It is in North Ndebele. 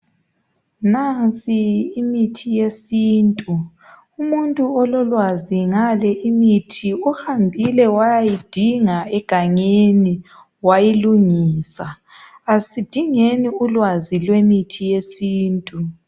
Nansi imithi yesintu umuntu ololwazi ngale imithi uhambile wayayidinga egangeni wayilungisa, asidingeni ulwazi lwemithi yesintu.